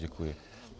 Děkuji.